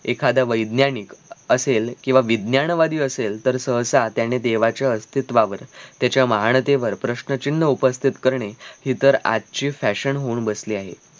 एखादा वैज्ञानिक असेल किंव्हा विज्ञान वादी असेल तर सहसा त्याने देवाच्या अस्थित्वावर त्याच्या महानतेवर प्रश्न चिन्ह उपस्थित करणे हि तर आजची fashion होऊन बसली आहे